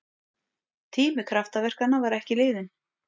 Tími kraftaverkanna var ekki liðinn!